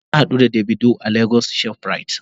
Na hadu da "davido" a lagos shoprite.